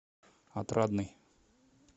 отрадный